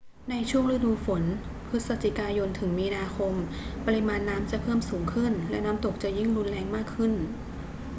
ในช่วงฤดูฝน พฤศจิกายนถึงมีนาคม ปริมาณน้ำจะเพิ่มสูงขึ้น และน้ำตกจะยิ่งรุนแรงมากขึ้น